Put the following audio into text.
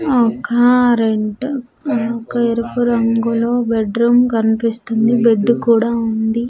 ఒకారెంట్ ఆ ఒక ఎరుపు రంగులో బెడ్ రూమ్ కనిపిస్తుంది బెడ్డు కూడా ఉంది.